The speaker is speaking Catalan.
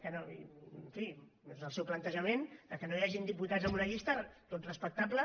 en fi és el seu plantejament que no hi hagin diputats en una llista tot respectable